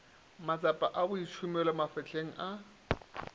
matsapa a boitšhomelo mafapheng a